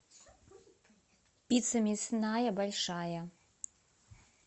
пицца мясная большая